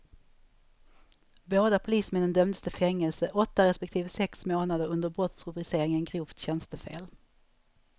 Båda polismännen dömdes till fängelse, åtta respektive sex månader, under brottsrubriceringen grovt tjänstefel.